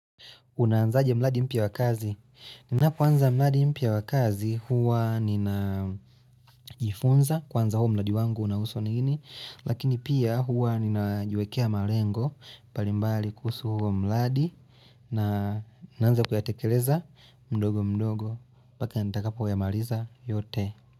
Unaanzaje mradi mpya wa kazi? Ninapoanza mradi mpya wa kazi huwa ninajifunza kwanza huo mradi wangu unahusu nini Lakini pia huwa ninajiwekea malengo mbalimbali kuhusu huo mradi na naanza kuyatekeleza mdogo mdogo mpaka nitakapo yamaliza yote.